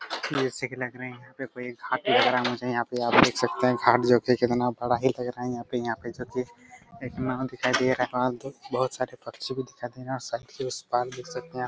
ढोसे के लग रहे हैं यहाँ पे कोई देख सकते हैं खाट जो की कितना बड़ा ही लग रहा हैं यहाँ पे जो की एक नांव दिखाई दे रहा हैं और बहुत सरे पक्षी भी दिखाई दे रहे हैं साथ ही उस पार देख सकते हैं आप--